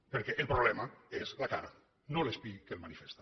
perquè el problema és la cara no l’espill que la manifesta